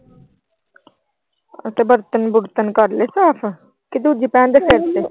ਤੇ ਬਰਤਨ ਬੂਰਤਨ ਕਰ ਲਏ ਸਾਫ। ਕੀ ਦੂਜੀ ਕਰਤੇ।